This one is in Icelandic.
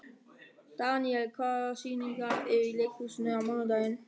Daniel, hvaða sýningar eru í leikhúsinu á mánudaginn?